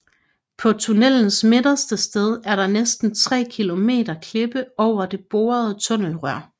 På tunnelens midterste sted er der næsten 3 kilometer klippe over det borede tunnelrør